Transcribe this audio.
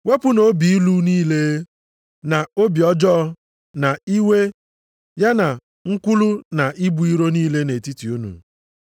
Wepụnụ obi ilu niile, na obi ọjọọ na iwe, ya na nkwulu na ibu iro niile nʼetiti unu.